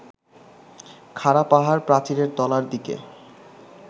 খাড়া পাহাড়-প্রাচীরের তলার দিকে